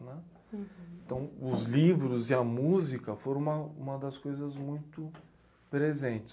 Então os livros e a música foram uma, uma das coisas muito presentes.